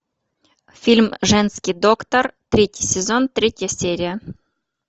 фильм женский доктор третий сезон третья серия